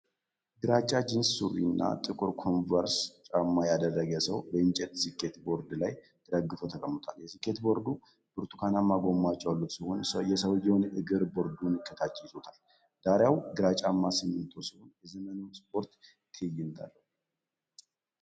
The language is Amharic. ግራጫ ጂንስ ሱሪ እና ጥቁር ኮንቨርስ ጫማ ያደረገ ሰው በእንጨት ስኬት ቦርድ ላይ ተደግፎ ተቀምጧል። የስኬት ቦርዱ ብርቱካናማ ጎማዎች ያሉት ሲሆን የሰውንዬው እግር ቦርዱን ከታች ይዞታል። ዳራው ግራጫማ ሲሚንቶ ሲሆን የዘመናዊ ስፖርት ትዕይንት አለው።